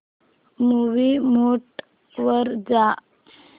movie mode वर जा